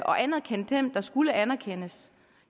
anerkendt den der skulle anerkendes